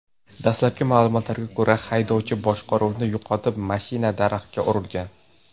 Dastlabki ma’lumotlarga ko‘ra, haydovchi boshqaruvni yo‘qotib, mashina daraxtga urilgan.